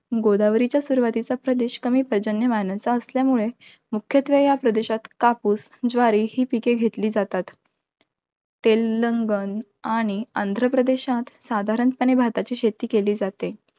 गोदावारीच्या सुरवातीचा प्रदेश, कमी पर्जन्यमानाचा असल्यामुळे, मुख्यत्वे या प्रदेशात कापूस, ज्वारी ही पिके घेतली जातात. तेलंगण आणि आंध्रप्रदेशात साधारणपणे भाताची शेती केली जाते.